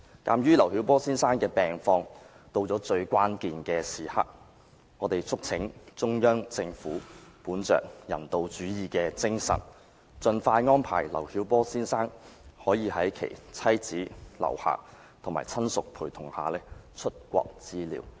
鑒於劉曉波先生的病況到了最關鍵時刻，我們促請中央政府本着人道主義的精神，盡快安排劉曉波先生可以在其妻子劉霞及親屬陪同下出國治療。